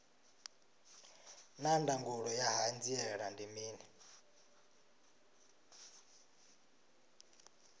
naa ndangulo ya hanziela ndi mini